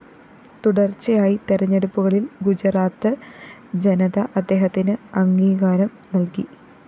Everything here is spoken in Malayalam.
തുടര്‍ച്ചയായി തെരഞ്ഞെടുപ്പുകളില്‍ ഗുജറാത്ത്‌ ജനത അദ്ദേഹത്തിന്‌ അംഗീകാരം നല്‍കി